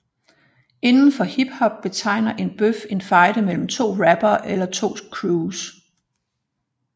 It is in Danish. Inden for hiphop betegner en bøf en fejde imellem to rappere eller to crews